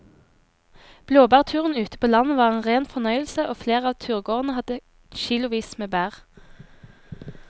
Blåbærturen ute på landet var en rein fornøyelse og flere av turgåerene hadde kilosvis med bær.